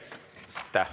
Aitäh!